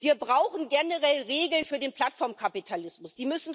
Wir brauchen generell Regeln für den Plattformkapitalismus.